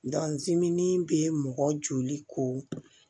dimin be mɔgɔ joli ko